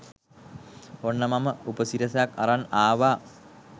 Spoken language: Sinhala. ඔන්න මම උපසිරසක් අරන් ආවා